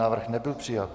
Návrh nebyl přijat.